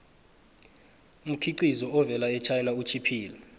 umkhiqizo ovela echina utjhiphile